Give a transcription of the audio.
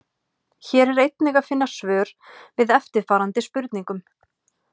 Hér er einnig að finna svör við eftirfarandi spurningum: